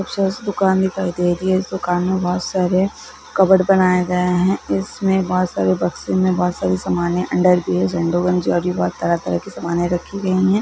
खूबसूरत सी दुकान दिखाई दे रही है इस दुकान में बहुत सारे कबर्ड बनाए गए है इसमें बहुत सारे बक्से मे बहुत सारे सामाने अंडरवियर सैंडो गंजी और भी तरह-तरह कि सामाने रखी गई है।